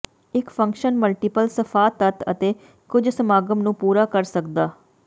ਇਕ function multiple ਸਫ਼ਾ ਤੱਤ ਅਤੇ ਕੁਝ ਸਮਾਗਮ ਨੂੰ ਪੂਰਾ ਕਰ ਸਕਦਾ